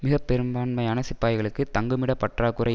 மிக பெரும்பான்மையான சிப்பாய்களுக்கு தங்குமிடப் பற்றா குறை